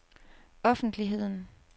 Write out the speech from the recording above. offentligheden